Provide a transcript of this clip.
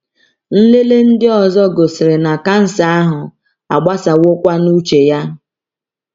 Nlele ndị ọzọ gosiri na kansa ahụ agbasawokwa n’uche ya.